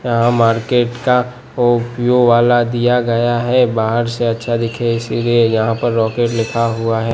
यहा मार्केट का वाला दिया गया है बाहर से अच्छा दिखे इसलिए यहा पर रॉकेट लिखा हुआ है।